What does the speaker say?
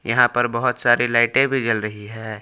यहां पर बहोत सारी लाइटें भी जल रही हैं।